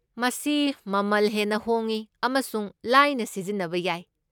ꯃꯁꯤ ꯃꯃꯜ ꯍꯦꯟꯅ ꯍꯣꯡꯉꯤ ꯑꯃꯁꯨꯡ ꯂꯥꯏꯅ ꯁꯤꯖꯤꯟꯅꯕ ꯌꯥꯏ꯫